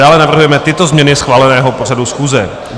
Dále navrhujeme tyto změny schváleného pořadu schůze: